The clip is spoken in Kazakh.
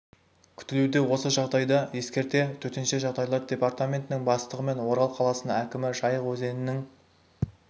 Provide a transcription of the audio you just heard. күтілуде осы жағдайды ескере төтенше жағдайлар департаментінің бастығы мен орал қаласының әкімі жайық өзенінің